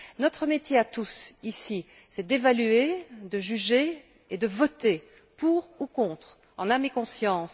Notre métier à tous, ici, c'est d'évaluer, de juger et de voter pour ou contre, en âme et conscience.